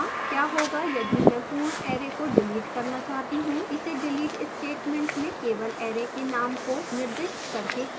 क्या होगा यदि मैं पूर्ण array को डिलीट करना चाहती हूँ